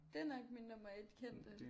Det er nok min nummer 1 kendte